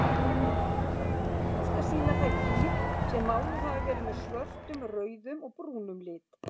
Oftast sýna þær dýr sem máluð hafa verið með svörtum, rauðum og brúnum lit.